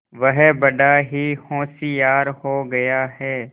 वह बड़ा ही होशियार हो गया है